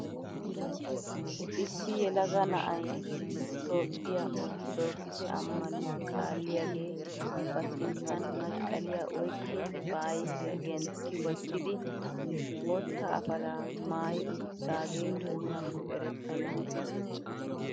Issi yelaga na'ay itoophphiyaa orttoddokise ammanuwaa kaalliyaagee ba sinttan masqqaliyaa oyqqi ba ayfiyaa gentti wottidi bootta apalaa maayi uttidagee oonakko erettena!